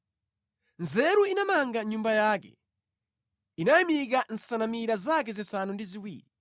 Nzeru inamanga nyumba yake; inayimika nsanamira zake zisanu ndi ziwiri.